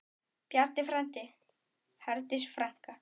Bjarni frændi, Herdís frænka.